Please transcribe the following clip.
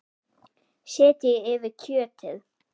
Setjið yfir kjötið.